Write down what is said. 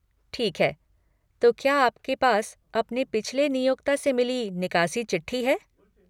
ठीक है, तो क्या आपके पास अपने पिछले नियोक्ता से मिली निकासी चिट्ठी है?